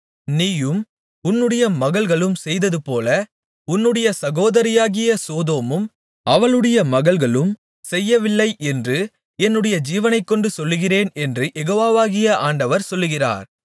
நீயும் உன்னுடைய மகள்களும் செய்ததுபோல உன்னுடைய சகோதரியாகிய சோதோமும் அவளுடைய மகள்களும் செய்யவில்லை என்று என்னுடைய ஜீவனைக்கொண்டு சொல்லுகிறேன் என்று யெகோவாகிய ஆண்டவர் சொல்கிறார்